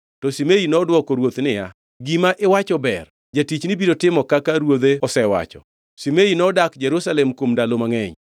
To Shimei nodwoko ruoth niya, “Gima iwacho ber, jatichni biro timo kaka ruodhe osewacho.” Shimei nodak Jerusalem kuom ndalo mangʼeny.